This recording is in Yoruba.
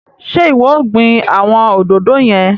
Ṣe iwọ o gbìn awọn òdodo yẹn?